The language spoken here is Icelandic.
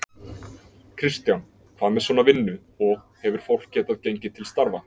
Kristján: Hvað með svona vinnu, og, hefur fólk getað gengið til starfa?